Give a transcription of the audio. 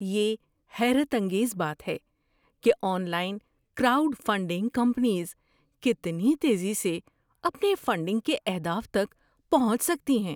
یہ حیرت انگیز بات ہے کہ online crowd funding campaigns کتنی تیزی سے اپنے فنڈنگ کے اہداف تک پہنچ سکتی ہیں۔